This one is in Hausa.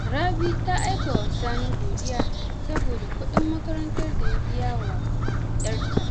Rabi ta aika wa Sani godiya saboda kuɗin makarantar da ya bi yawa ‘yarta